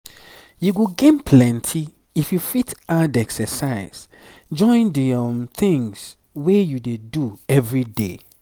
you go gain plenty if you fit add exercise join the things wey you dey do everyday.